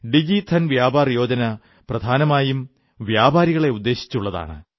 ഡിജിധൻ വ്യാപാർ യോജന പ്രധാനമായും വ്യാപാരികളെ ഉദ്ദേശിച്ചുള്ളതാണ്